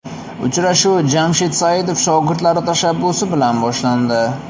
Uchrashuv Jamshid Saidov shogirdlari tashabbusi bilan boshlandi.